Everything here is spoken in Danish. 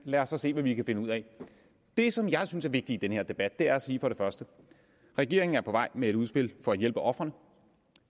lad os så se hvad vi kan finde ud af det som jeg synes er vigtigt i den her debat er at sige at regeringen er på vej med et udspil for at hjælpe ofrene